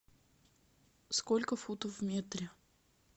сколько футов в метре